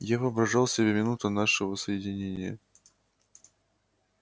я воображал себе минуту нашего соединения